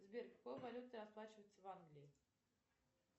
сбер какой валютой расплачиваются в англии